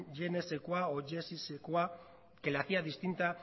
je ne sais quoi o je suis sais quoi que la hacía distinta